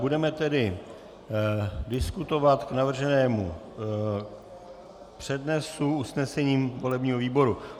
Budeme tedy diskutovat k navrženému přednesu usnesením volebního výboru.